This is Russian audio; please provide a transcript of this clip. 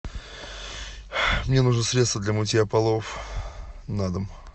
мне нужно средство для мытья полов на дом